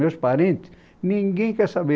Meus parentes, ninguém quer saber.